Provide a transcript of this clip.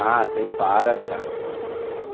Ah, tem várias, cara.